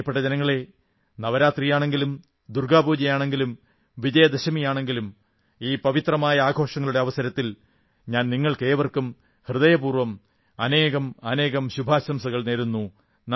പ്രിയപ്പെട്ട ജനങ്ങളേ നവരാത്രിയാണെങ്കിലും ദുർഗ്ഗാപൂജയാണെങ്കിലും വിജയദശമിയാണെങ്കിലും ഈ പവിത്രമായ ആഘോഷങ്ങളുടെ അവസരത്തിൽ ഞാൻ നിങ്ങൾക്കേവർക്കും ഹൃദയപൂർവ്വം അനേകം അനേകം ശുഭാശംസകൾ നേരുന്നു